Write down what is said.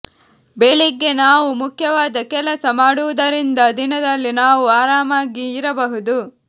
ಬೆಳಿಗ್ಗೆ ನಾವು ಮುಖ್ಯವಾದ ಕೆಲಸ ಮಾಡುವುದರಿಂದ ದಿನದಲ್ಲಿ ನಾವು ಆರಾಮಾಗಿ ಇರಬಹುದು